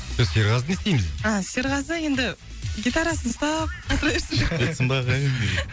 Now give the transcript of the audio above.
біз серғазыны не істейміз енді а серғазы енді гитарасын ұстап отыра берсін шығып кетсін ба ағайын